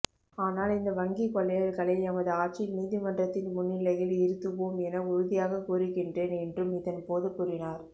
ஆனால் இந்த வங்கிக் கொள்ளையர்களை எமது ஆட்சியில் நீதிமன்றத்தின் முன்னிலையில் இருத்துவோம் என உறுதியாக கூறுகின்றேன் என்றும் இதன்போது கூறினார்